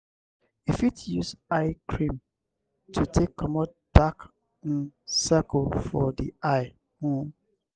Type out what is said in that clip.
you fit use eye cream to take comot dark um circle for di eye um